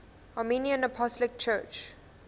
armenian apostolic church